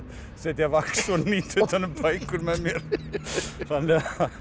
setja vax og hnýta utan um bækur með mér þannig